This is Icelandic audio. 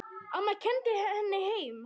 Amma kenndi henni heima.